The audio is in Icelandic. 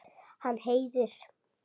Hann heyrir.